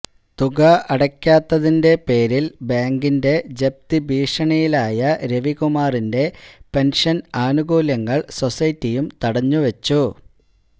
തുക അടയ്ക്കാത്തതിന്റെ പേരില് ബാങ്കിന്റെ ജപ്തി ഭീഷണിയിലായ രവികുമാറിന്റെ പെന്ഷന് ആനുകൂല്യങ്ങള് സൊസൈറ്റിയും തടഞ്ഞുവച്ചു